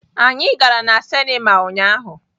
Anyị gara na sinima ụnyahụ.